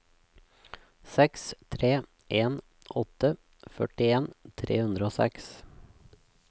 seks tre en åtte førtien tre hundre og seks